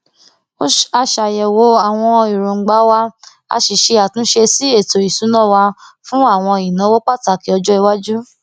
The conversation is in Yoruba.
a ṣàyèwò àwọn èròngbà wa a sì ṣe àtúnṣe sí ètò ìsúná wa fún àwọn ìnáwó pàtàkì ọjọiwájú